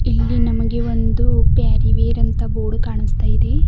ಇಲ್ಲಿ ನಮಗೆ ಒಂದು ಪ್ಯಾರಿವೆರ್ ಅಂತ ಬೋರ್ಡ್ ಕಾಣಿಸ್ತಾ ಇದೆ.